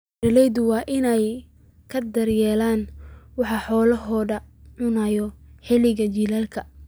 Beeralayda waa in ay ka taxadiraan waxa ay xoolahoodu cunaan xilliga jiilaalka.